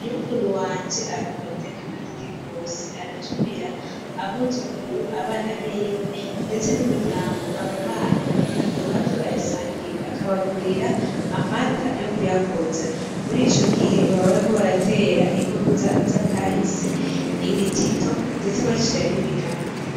Nyokuru wanje arakunda guteka amateke gose, aratumira abuzukuru, abana biwe ndetse n'umuryango, ababanyi kugira ngo baze bayasangire akabagurira amata yo kuyakoza. Murico gihe baba bariko baratera inkuru z'akahise , ibitito ndetse abacira n'imigani.